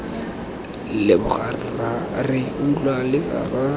leboga rra re utlwa letsapa